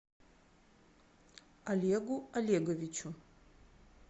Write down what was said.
олегу олеговичу